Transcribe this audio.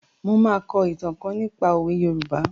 Mo máa kọ ìtàn kan nípa òwe Yorùbá.